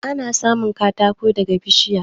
Ana samun katako ne daga bishiya.